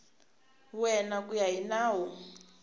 wena ku ya hi nawu